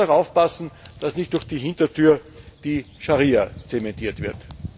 Man muss auch darauf achten, dass nicht durch die Hintertür die Scharia zementiert wird.